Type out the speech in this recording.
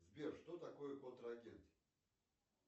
сбер что такое контрагент